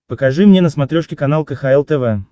покажи мне на смотрешке канал кхл тв